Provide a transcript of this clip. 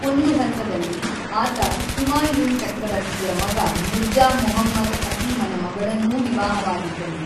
ಒಂದು ಹಂತದಲ್ಲಿ, ಆತ ಹುಮಾಯೂನ್ ಚಕ್ರವರ್ತಿಯ ಮಗ ಮಿರ್ಜಾ ಮುಹಮ್ಮದ್ ಹಕೀಮನ ಮಗಳನ್ನೂ ವಿವಾಹವಾಗಿದ್ದನು.